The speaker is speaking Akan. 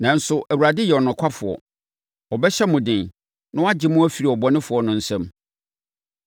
Nanso, Awurade yɛ ɔnokwafoɔ. Ɔbɛhyɛ mo den na wagye mo afiri ɔbɔnefoɔ no nsam.